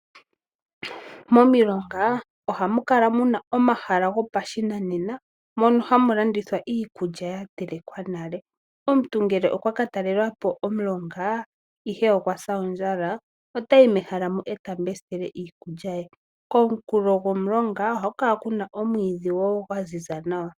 Momilonga ohamu kala muna omahala go pashinanena mono hamu landithwa iikulya ya telekwa nale. Omuntu ngele okwa ka talela po omulonga ihe okwasa ondjala otayi mehala mo eta mbesitele iikulya ye. Ko munkulo gomulonga ohaku kala kuna omwiidhi wo gwaziza nawa.